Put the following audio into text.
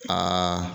Aa